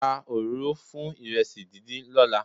Ra òróró fún ìrẹsì díndín lọ́la.